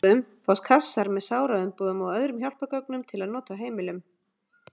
Í lyfjabúðum fást kassar með sáraumbúðum og öðrum hjálpargögnum til nota á heimilum.